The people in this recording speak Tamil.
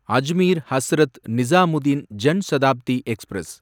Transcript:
அஜ்மீர் ஹஸ்ரத் நிசாமுதீன் ஜன் சதாப்தி எக்ஸ்பிரஸ்